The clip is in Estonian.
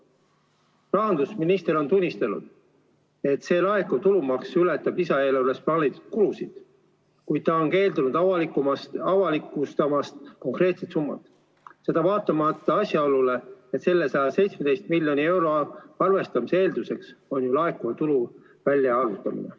Rahandusminister on tunnistanud, et laekuv tulumaks ületab lisaeelarves plaanitud kulusid, kuid ta on keeldunud avalikustamast konkreetset summat, vaatamata asjaolule, et selle 117 miljoni euro arvestamise eelduseks on ju laekuva tulu väljaarvutamine.